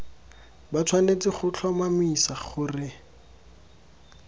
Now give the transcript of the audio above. ba tshwanetse go tlhomamisa gore